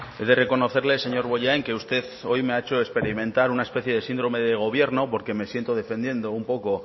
he de reconocerle señor bollain que usted hoy me ha hecho experimentar una especie de síndrome de gobierno porque me siento defendiendo un poco